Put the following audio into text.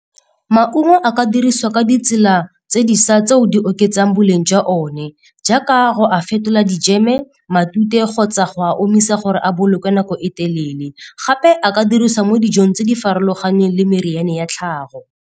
Maungo a ka dirisiwa ka ditsela tseo di oketsang boleng jwa one, jaaka go a fetola dijeme, matute kgotsa go a omisa gore a bolokwe nako e telele. Gape a ka dirisiwa mo dijong tse di farologaneng le meriane ya tlhago.